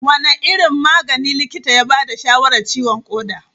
Wane irin magani likita ya ba da shawarar ciwon koda?